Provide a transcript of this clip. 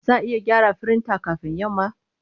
Za a iya gyara firinta kafin yamma?